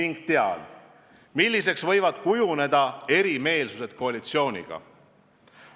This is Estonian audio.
Ma tean, milliseks võivad kujuneda lahkarvamused koalitsiooniga.